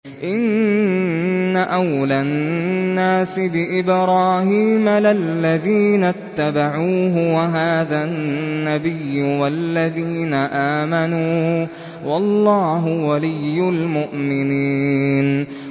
إِنَّ أَوْلَى النَّاسِ بِإِبْرَاهِيمَ لَلَّذِينَ اتَّبَعُوهُ وَهَٰذَا النَّبِيُّ وَالَّذِينَ آمَنُوا ۗ وَاللَّهُ وَلِيُّ الْمُؤْمِنِينَ